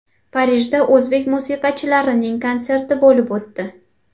Parijda o‘zbek musiqachilarining konserti bo‘lib o‘tdi.